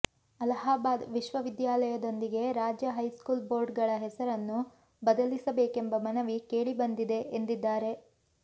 ಅಲಹಾಬಾದ್ ವಿಶ್ವವಿದ್ಯಾಲಯದೊಂದಿಗೆ ರಾಜ್ಯ high school board ಗಳ ಹೆಸರನ್ನು ಬದಲಿಸಬೇಕೆಂಬ ಮನವಿ ಕೇಳಿಬಂದಿದೆ ಎಂದಿದ್ದಾರೆ